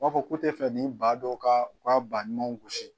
U b'a fɔ ko te fɛ nin ba dɔw kaa u ka ba ɲumanw gosi